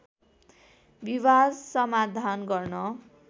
विवाद समाधान गर्न